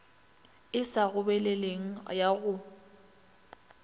e sa gobeleleng ya go